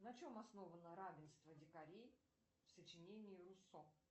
на чем основано равенство дикарей в сочинении руссо